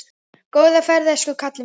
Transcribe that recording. Góða ferð elsku kallinn minn.